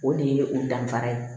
O de ye o danfara ye